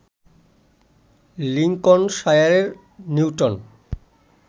লিংকনশায়ারে Newton